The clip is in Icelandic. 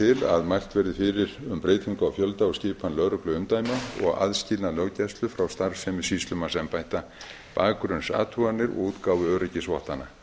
til að mælt verði fyrir um breytingu á fjölda og skipan lögregluumdæma og aðskilnað löggæslu frá starfsemi sýslumannsembætta bakgrunnsathuganir og útgáfu öryggisvottana